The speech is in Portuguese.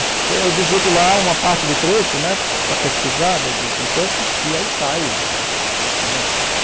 É, eu digito lá uma parte do trecho né, para pesquisar, e aí sai, né.